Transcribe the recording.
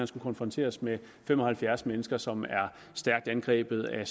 skulle konfronteres med fem og halvfjerds mennesker som var stærkt angrebet af